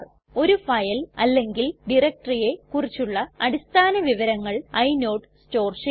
ഒരു ഫയൽ അല്ലെങ്കിൽ directoryയെ കുറിച്ചുള്ള അടിസ്ഥാന വിവരങ്ങൾ ഇനോട് സ്റ്റോർ ചെയ്യുന്നു